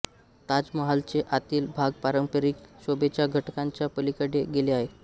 ताजमहालचे आतील भाग पारंपारिक शोभेच्या घटकांच्या पलिकडे गेले आहे